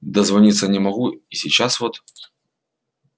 дозвониться не могу и сейчас вот